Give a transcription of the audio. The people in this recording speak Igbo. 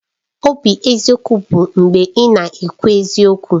Obi eziokwu bụ mgbe ị na-ekwu eziokwu